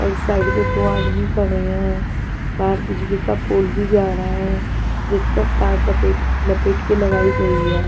और साइड में दो आदमी खड़े हैं बाहर बिजली का पोल भी जा रहा है जिस पर तार टपेट लपेट के लगाई गई है.